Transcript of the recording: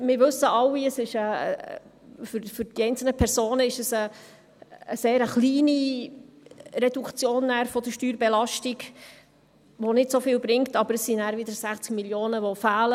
Wir wissen alle, dass es für die einzelnen Personen eine sehr kleine Reduktion der Steuerbelastung ist, die nicht so viel bringt, aber es sin d dann wieder 60 Mio. Franken, die fehlen.